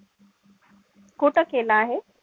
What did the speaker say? कुठं केलं आहे?